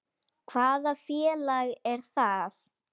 Hvaða félag er það?